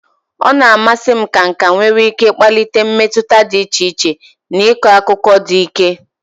Ọ na-amasị m ka nka nwere ike kpalite mmetụta dị iche iche na ịkọ akụkọ dị ike.